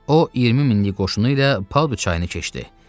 O, 20 minlik qoşunu ilə Paudu çayını keçdi.